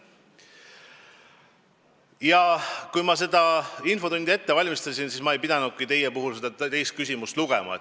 Ja kui ma seda infotundi ette valmistasin, siis ma ei pidanudki seda teist küsimust lugema.